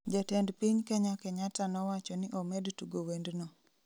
jatend piny kenya Kenyatta nowachoni omed tugo wendno